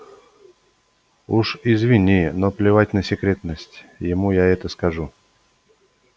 уж извини но плевать на секретность ему я это скажу